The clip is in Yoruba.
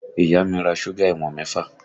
Ìyá mi ra súgà ìwọ̀n mẹ́fà